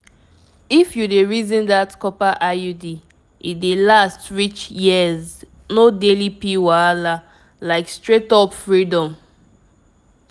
if you dey reason that copper iud e dey last reach yearsno daily pill wahala like straight-up freedom!